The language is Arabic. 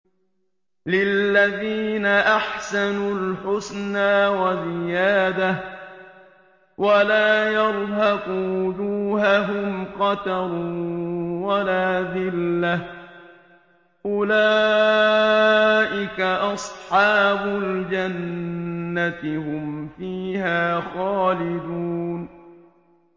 ۞ لِّلَّذِينَ أَحْسَنُوا الْحُسْنَىٰ وَزِيَادَةٌ ۖ وَلَا يَرْهَقُ وُجُوهَهُمْ قَتَرٌ وَلَا ذِلَّةٌ ۚ أُولَٰئِكَ أَصْحَابُ الْجَنَّةِ ۖ هُمْ فِيهَا خَالِدُونَ